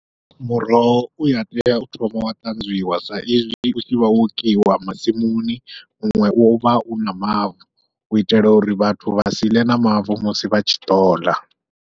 Muroho uya tea u thoma wa ṱanzwiwa saizwi utshi vha wo kiwa masimuni muṅwe uvha u na mavu, u itela uri vhathu vha si ḽe na mavu musi vha tshi ḓola.